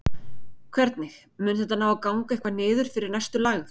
Hvernig, mun þetta ná að ganga eitthvað niður fyrir næstu lægð?